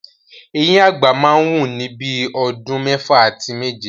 Eyín àgbà máa wù ni bíi ọdún mẹ́fà àti méje.